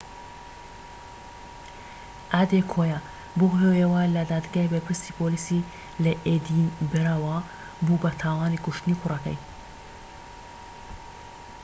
ئادێکۆیا بەو هۆیەوە لە دادگای بەرپرسی پۆلیسیی لە ئێدینبرە بوو بە تاوانی کوشتنی کوڕەکەی